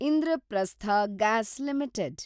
Indraprastha gas limited